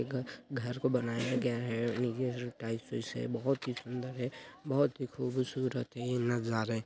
घर- घर को बनाया गया है नीचे टाइल्स -वैल्स है बहुत ही सुन्दर है बहुत ही खूबसूरत है ये नजारें --